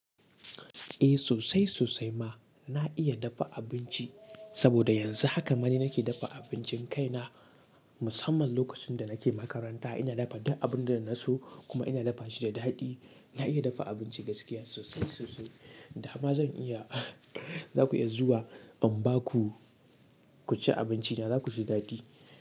Eh, sosai sosai ma na iya dafa abinci. Saboda yanzu haka ma ni nake dafa abincin kaina. Musamman lokacin da nake makaranta ina dafa duk abun da naso kuma ina dafa shi da daɗi. Na iya dafa abinci gaskiya sosai sosai. Da ma zan iya za ku iya zuwa in ba ku cin abinci, da zakuji daɗi.